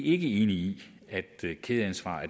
ikke enige i at kædeansvar